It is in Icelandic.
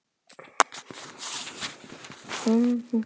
Tal verður óskýrt, hreyfingar óstyrkar og reikular.